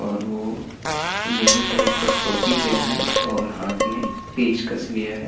और वो yellow colour का टोपी पेहना है और हाथ में पेचकश लिया है।